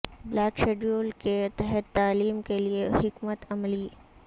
block schedule کے تحت تعلیم کے لئے حکمت عملی